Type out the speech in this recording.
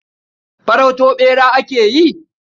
Farauto ɓera ake yi?